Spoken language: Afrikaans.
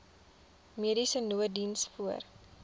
mediese nooddiens voor